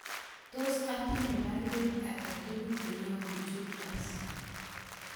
Tos atinye baruet agetugul neyobu Julius